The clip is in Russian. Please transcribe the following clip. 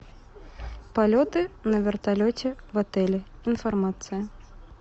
полеты на вертолете в отеле информация